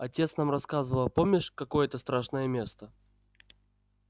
отец нам рассказывал а помнишь какое это страшное место